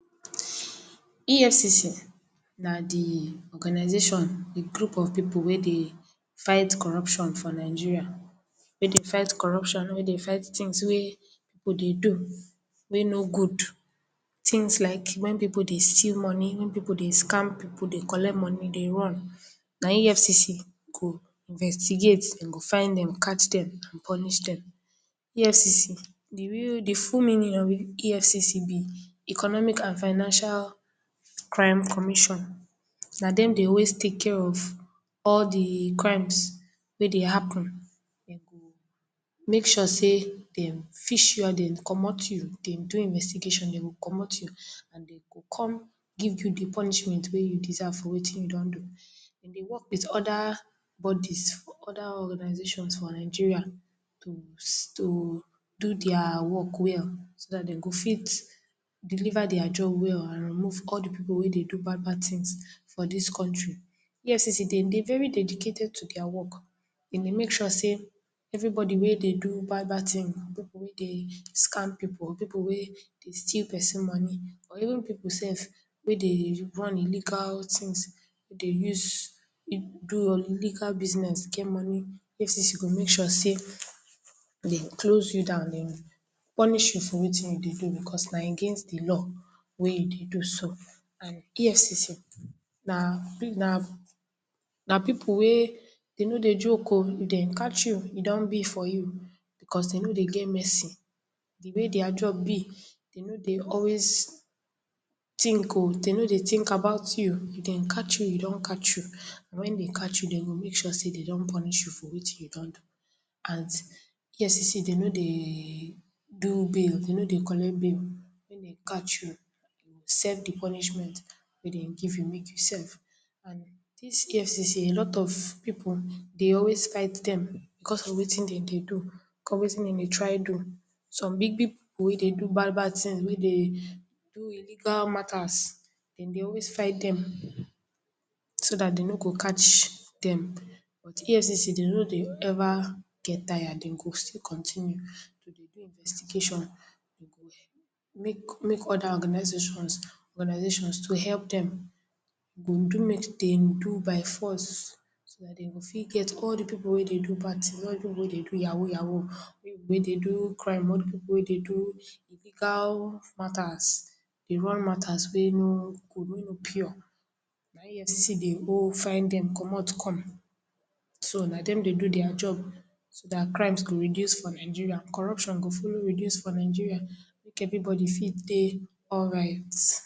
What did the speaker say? EFCC na di organisation wit group of pipu wey dey fight corruption for Nigeria. Wey dey fight corruption, wey dey fight tins wey pipu dey do wey no good. Tins like wen pipu dey steal money, wen pipu dey scam pipu, dey collect money, dey run, na EFCC go investigate, den go find dem, catch dem, and punish dem. EFCC, di real, di full meaning of EFCC be economic and financial crime commission, na dem dey always take care of all di crimes wey dey happen. Den make sure sey dem fish you out, dem comot you, dem do investigation, den go comot you, and den go kon give you di punishment wey you deserve for wetin you don do. Den dey work wit oda bodies for, oda organizations for Nigeria to ss, to do dia work well, so dat den go fit deliver dia job well and remove all di pipu wey dey do bad bad tins for dis country. EFCC den dey very dedicated to dia work, den dey make sure sey, everybody wey dey do bad bad tin, pipu wey dey scam pipu, pipu wey dey steal person money or even pipu sef wey dey run illegal tins dey use do illegal business get money, EFCC go make sure sey den close you down, den punish you for wetin you dey do, because na against di law wey you dey do so. And EFCC, na na na pipu wey den no dey joke o, if den catch you, e don be for you because den no dey get mercy, di way dia job be, den no dey always tink o, den no dey tink about you, if den catch you, den don catch you, and wen den catch you, den go make sure sey den don punish you for wetin you don do and EFCC, den no dey do bail, den no dey collect bail, wen den catch you, you serve di punishment wey den give you mek you serve. And dis EFCC a lot of pipu dey always fight dem because of wetin den dey do, cos of wetin den dey try do. Some big big pipu wey dey do bad bad tins wey dey do illegal matters, den dey always fight dem, so dat den no go catch dem. But, EFCC den no dey ever get tired, den go still continue to dey do investigation, den go mek mek oda organizations organizations to help dem, den go do mek den do by force, so dat den go fit get all di pipu wey do bad tin, all di pipu wey dey do yahoo yahoo, pipu wey dey do crime, all di pipu wey dey do illegal matters, dey run matters wey no good, wey no pure, na EFCC dey owe, find dem comot come, so na dem dey do dia job so dat crimes go reduce for Nigeria, corruption go follow reduce for Nigeria mek everybody fit dey alright.